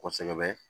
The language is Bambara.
Kosɛbɛ